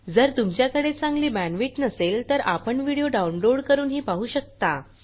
जर तुमच्याकडे चांगली बॅण्डविड्थ नसेल तर आपण व्हिडिओ डाउनलोड करूनही पाहू शकता